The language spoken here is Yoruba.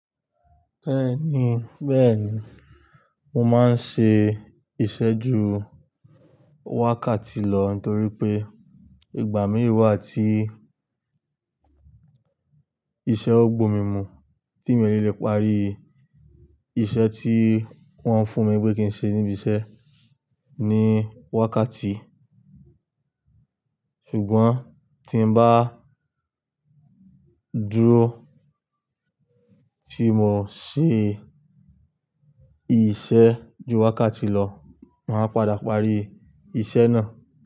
Bẹ́ẹ̀ni, bẹ́ẹ̀ni, mo máa ń ṣe ìṣé ju wákàtí lọ nítorí pé ìgbà mìíràn wà tí iṣẹ́ o gbo mimú tí mi o ní le parí iṣẹ́ tí wọ́n fún mi wí pé kí n ṣe níbi iṣẹ́ ní wákàtí. Ṣùgbọ́n tí n bá dúró tí mo ṣe ìṣé ju wákàtí lọ, màá padà parí iṣẹ́ náà.